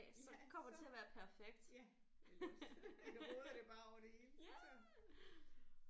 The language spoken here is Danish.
Ja så ja eller også så roder det bare over det hele sådan